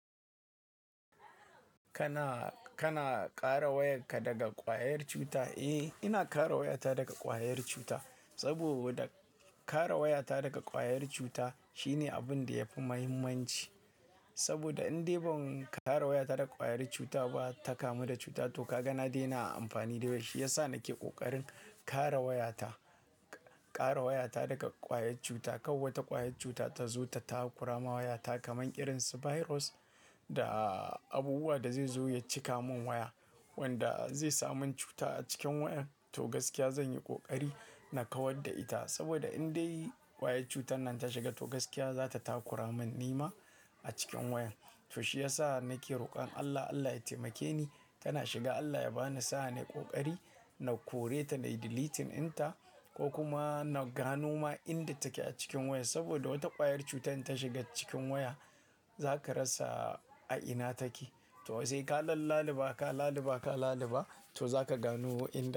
Kana, kana ƙara wayarka daga ƙwayar cuta? Eh, ina ƙara wayata daga ƙwayar cuta. Saboda ƙara wayata daga ƙwayar cuta shine abin da yafi muhimmanci. Saboda in dai ban ƙara wayata daga ƙwayar cuta ba ta kamu da cuta. To ka ga na daina amfani da shi, shi ya sa na ke ƙoƙarin ƙara wayata, ƙara wayata daga ƙwayar cuta. Kau wata ƙwayar cuta ta zo ta takura ma wayata kaman irin su virus da abubuwa da zai zo ya cika min waya wanda zai sa min cuta a cikin wayar. To gaskiya zan yi ƙoƙari na kawar da ita. Saboda in dai ƙwayar cutar nan ta shiga, to gaskiya za ta takura min nima a cikin wayar. To shi ya sa na ke roƙon Allah, Allah ya taimake ni tana shiga Allah ya ba ni sa'a na yi ƙoƙari na kore ta na delete inta ko kuma na gano ma inda take a cikin waya. Saboda wata ƙwayar cutar in ta shiga cikin waya za ka rasa a ina take. To sai ka lalalaba, ka lalaba, ka lalaba to za ka gano inda.